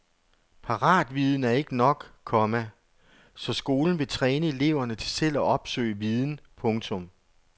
Paratviden er ikke nok, komma så skolen vil træne eleverne til selv at opsøge viden. punktum